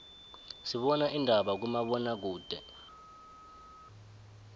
sibana indaba kuma bona kude